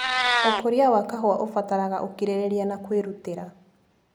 ũkũria wa kahũa ũbataraga ũkirĩrĩria na kwĩrutĩra.